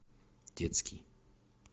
детский